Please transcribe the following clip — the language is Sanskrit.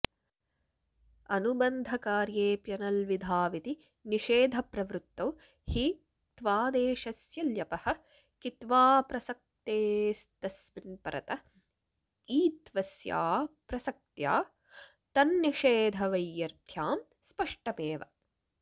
अनुबन्धकार्येऽप्यनल्विधाविति निषेधप्रवृत्तौ हि क्त्वादेशस्य ल्यपः कित्त्वाऽप्रसक्तेस्तस्मिन्परत ईत्वस्याऽप्रसक्त्या तन्निषेधवैयर्थ्यां स्पष्टमेव